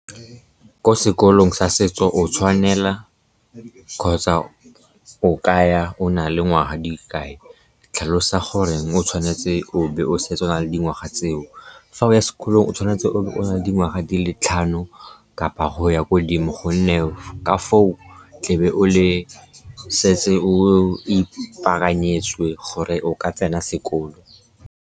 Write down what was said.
Ko sekolong sa setso o tshwanela kgotsa o kaya o nale ngwaga di le kae? Tlhalosa goreng o tshwanetse o be o setse o nale dingwaga tseo. Fa o ya sekolong, o tshwanetse o bo o na le dingwaga di le tlhano kapa go ya ko godimo, gonne ka foo tlebe o setse o ipaakanyetse gore o ka tsena sekolo.